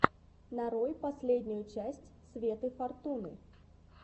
нарой последнюю часть светы фортуны